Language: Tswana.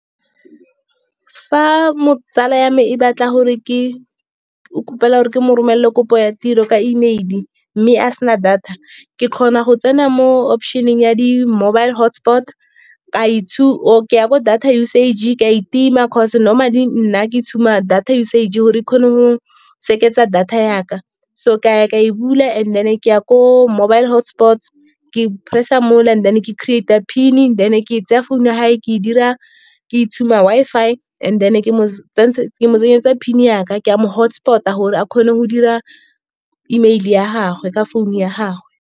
Fa tsala ya me o gopela gore ke mo romelelevkopo ya tiro ka E mail, mme a sena data. Ke kgona go tsena mo option-eng ya di-mobile hotspot, ke ya bo data usage ke a e tima, cause normally nna ke tshuba data usage gore e kgone go seketsa data ya ka. So ka ya ka e bula, and then ke ya ko mobile hotspots, ke press-a mo la and then ke creater-a PIN-e, then ke tsaya founu ya gagwe ke e tshuba Wi-Fi and then ke tsenyetsa PIN-e ya ka, ke a mo hotspot-a gore a kgone go dira E mail ya gagwe, ka founu ya gagwe.